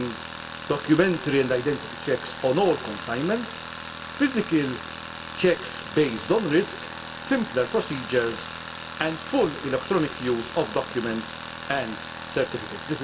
mean? It means documentary and identity checks on all consignments, physical checks based on risk, simpler procedures and full use of electronic documents and certificates.